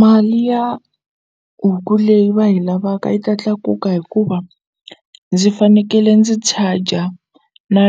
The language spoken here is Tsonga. Mali ya huku leyi va yi lavaka yi ta tlakuka hikuva ndzi fanekele ndzi charger na